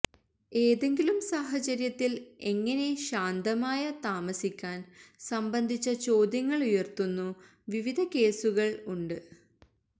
ഏതെങ്കിലും സാഹചര്യത്തിൽ എങ്ങനെ ശാന്തമായ താമസിക്കാൻ സംബന്ധിച്ച ചോദ്യങ്ങളുയർത്തുന്നു വിവിധ കേസുകൾ ഉണ്ട്